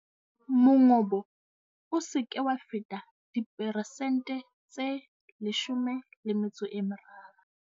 Mongobo o se ke wa feta diperesente tse 13.